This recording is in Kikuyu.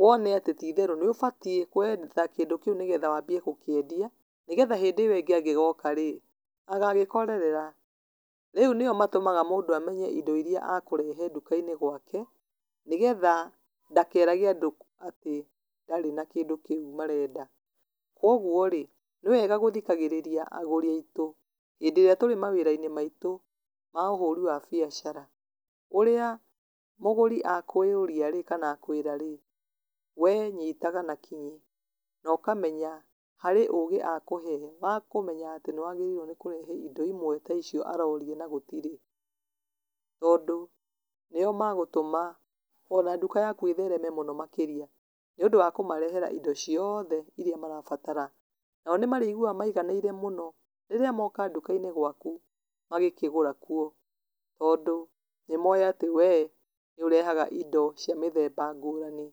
wone atĩ níũbatiĩ kwetha kĩndũ kĩu nĩgetha wambie gũkĩendia, nĩgetha hĩndĩ ĩwe ĩngĩ angĩgoka rĩ, agagĩkorerera, rĩu nĩo matũmaga mũndũ amenye indo iria akũrehe nduka-inĩ gwake, nĩgetha ndakerage andũ atĩ ndarĩ na kĩndũ kĩu marenda, koguo rĩ, nĩ wega gũthikagĩrĩria agũri aitũ, hĩndĩ ĩrĩa tũrĩ mawĩra-inĩ maitũ ma ũhũri wa biacara, ũrĩa mũgũri akũria rĩ, kana akwĩra rĩ, wee nyitaga na kĩ nokamenyaga, harĩ ũgĩ akũhee, wa kũmenya atĩ nĩ wagĩrĩirwo nĩ kũrehe indo imwe ta icio aroria na gũtirĩ, tondũ, nĩo magũtũma ona nduka yaku ĩthereme mũno makĩria nĩúndũ wa kũmarehera indo ciothe iria marabatara, nao nĩmarĩiguaga maiganĩire mũno, rĩrĩa moka nduka-inĩ gwaku magĩkĩgũra kuo, tondũ, nĩmoĩ atĩ wee, níũrehaga indo cia mĩthemba ngũrani.